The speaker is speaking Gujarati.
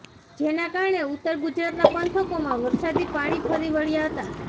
જેના કારણે ઉત્તર ગુજરાતના પંથકોમાં વરસાદી પાણી ફરી વળ્યા હતા